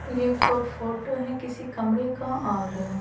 ये एक फोटो है किसी कमरे का और --